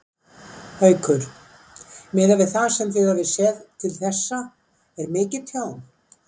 Haukur: Miðað við það sem þið hafið séð til þessa, er mikið tjón?